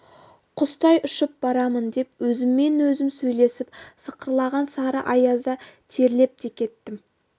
құстай ұшып барамын деп өзіммен-өзім сөйлесіп сықырлаған сары аязда терлеп те кеттім